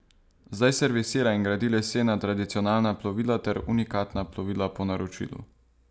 Zdaj servisira in gradi lesena tradicionalna plovila ter unikatna plovila po naročilu.